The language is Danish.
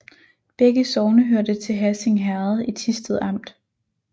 Begge sogne hørte til Hassing Herred i Thisted Amt